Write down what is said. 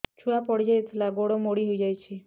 ଛୁଆ ପଡିଯାଇଥିଲା ଗୋଡ ମୋଡ଼ି ହୋଇଯାଇଛି